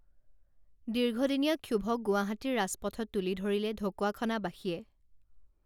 দীৰ্ঘদিনীয়া ক্ষোভক গুৱাহাটীৰ ৰাজপথত তুলি ধৰিলে ঢকুৱাখনাবাসীয়ে